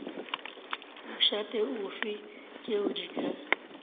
mošate ofe tšeo di ka